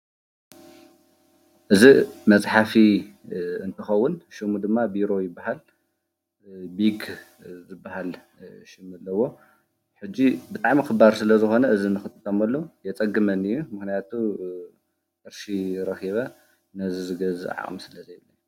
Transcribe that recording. እዚ መፅሓፊ ዝከውን ሹሙ ድማ ቢሮ ይበሃል፡፡ ቢክ ዝበሃል ሹም አለዎ፡፡ ሕጂ ብጣዕሚ ክባር ስለ ዝኮነ እዚ ንክንጥቀመሉ የፀግመኒ እዩ፡፡ ምክንያቱ ቅርሺ ረኪበ ነዚ ዝገዝእ ዓቅሚ ሰለዘይብለይ፡፡